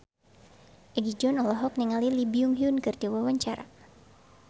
Egi John olohok ningali Lee Byung Hun keur diwawancara